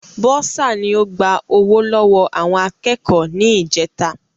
Bọ́ọ́sà ni o gba ọwọ́ lọ́wọ́ àwọn akẹ́kọ̀ọ́ ní ìjèta